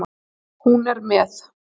Hún er með.